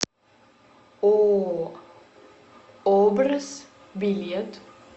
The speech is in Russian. ооо образ билет